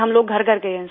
फिर हम लोग घरघर गए हैं